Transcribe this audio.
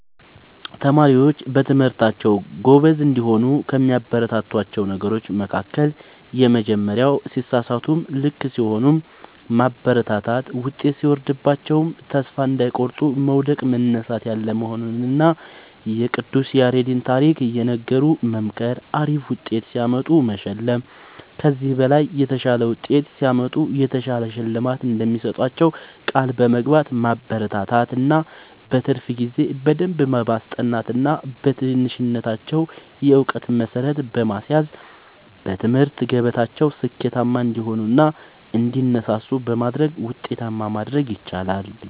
ተማሪዎች በትምህርታቸዉ ጎበዝ እንዲሆኑ ከሚያበረታቷቸዉ ነገሮች መካከል:- የመጀመሪያዉ ሲሳሳቱም ልክ ሲሆኑም ማበረታታት ዉጤት ሲወርድባቸዉም ተስፋ እንዳይቆርጡ መዉደቅ መነሳት ያለ መሆኑንና የቅዱስ ያሬድን ታሪክ እየነገሩ መምከር አሪፍ ዉጤት ሲያመጡ መሸለም ከዚህ በላይ የተሻለ ዉጤት ሲያመጡ የተሻለ ሽልማት እንደሚሰጧቸዉ ቃል በመግባት ማበረታታት እና በትርፍ ጊዜ በደንብ በማስጠናት ገና በትንሽነታቸዉ የእዉቀት መሠረት በማስያዝ በትምህርት ገበታቸዉ ስኬታማ እንዲሆኑ እና እንዲነሳሱ በማድረግ ዉጤታማ ማድረግ ይቻላል።